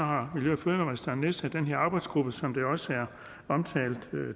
har miljø og fødevareministeren nedsat den her arbejdsgruppe som det også er omtalt